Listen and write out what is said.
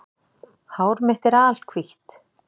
Hár mitt er alhvítt